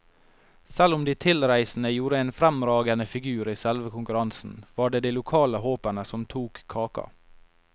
Selv om de tilreisende gjorde en fremragende figur i selve konkurransen, var det de lokale håpene som tok kaka.